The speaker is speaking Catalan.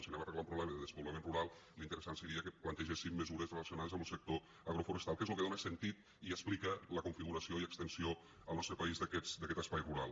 si hem d’arreglar un problema de despoblament rural l’interessant seria que plantegéssim mesures relacionades amb lo sector agroforestal que és lo que dona sentit i explica la configuració i extensió al nostre país d’aquest espai rural